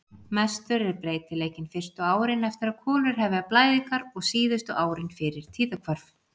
Mestur er breytileikinn fyrstu árin eftir að konur hefja blæðingar og síðustu árin fyrir tíðahvörf.